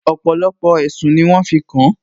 Ọ̀pọ̀lọpọ̀ ẹ̀sùn ni wọ́n fi kàn